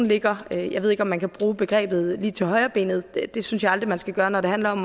ligger jeg ved ikke om man kan bruge begrebet lige til højrebenet det synes jeg aldrig man skal gøre når det handler om